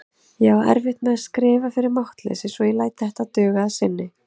Ég á erfitt með að skrifa fyrir máttleysi svo ég læt þetta duga að sinni.